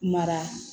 Mara